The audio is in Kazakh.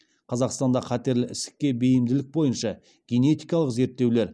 қазақстанда қатерлі ісікке бейімділік бойынша генетикалық зерттеулер